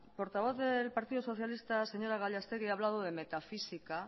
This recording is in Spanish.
portavoz del partido socialista señora gallastegui ha hablado de metafísica